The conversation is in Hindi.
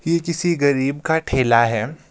ये किसी गरीब का ठेला है।